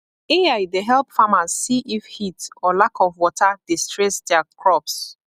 ai dey help farmers see if heat or lack of water dey stress their crops